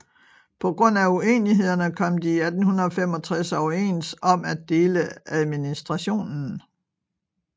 På grund af unenighederne kom de i 1865 overens om at dele administrationen